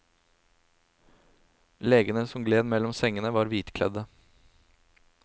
Legene som gled mellom sengene var hvitkledde.